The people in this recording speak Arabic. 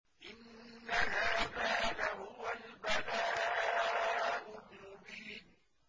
إِنَّ هَٰذَا لَهُوَ الْبَلَاءُ الْمُبِينُ